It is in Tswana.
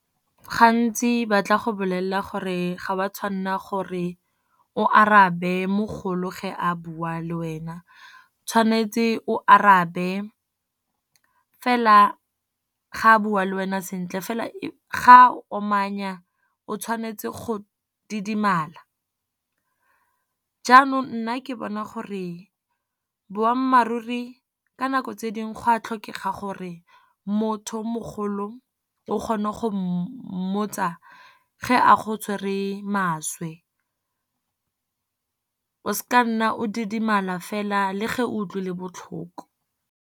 Gantsi ba tla go bolelela gore ga wa tshwanela gore o arabe mogolo, ge a bua le wena. O tshwanetse o arabe fela ga a bua le wena sentle, fela e ga a omanya o tshwanetse go didimala. Jaanong nna ke bona gore boammaaruri ka nako tse dingwe gwa tlhokega gore, motho o mogolo o kgone go mmotsa ga a go tshwere maswe. O sa nna o didimala fela le ge o utlwile botlhoko.